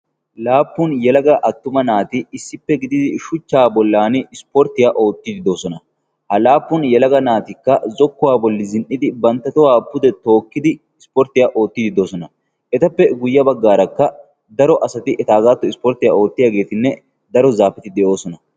laappun yalaga attuma naati issippe gididi shuchchaa bollan ispporttiyaa oottiiddi doosona. ha laappun yalaga naatikka zokkuwaa bolli zin77idi bantta tohuwaa pude tookkidi ispporttiyaa oottiiddi doosona. etappe guyye baggaarakka daro asati etaagaattuwan ispporttiyaa oottiyaageetinne daro zaafeti de7oosona.